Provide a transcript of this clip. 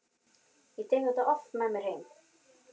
En ég tek það oft með mér heim.